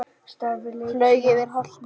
Flaug yfir holtið.